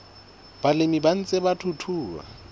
balemi ba ntseng ba thuthuha